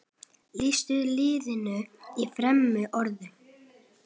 Lýstu liðinu í þremur orðum?